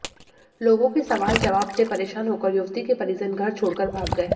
लोगों के सवाल जवाब से परेशान होकर युवती के परिजन घर छोड़कर भाग गए